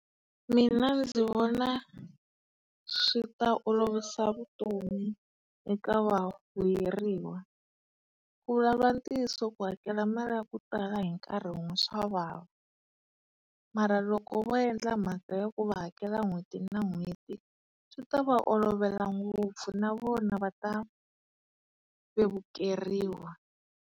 Mina ndzi vona swi ta olovisa vutomi eka va vuyeriwa. ntiyiso ku hakela mali yaku tala hinkarhi wun'we swa vava. Mara loko vo endla mhaka ya ku va hakela n'hweti na n'hweti swi ta va olovela ngopfu na vona va ta vevukeriwa.